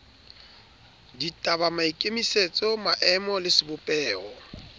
ditaba maikemisetso maemo le sebopeho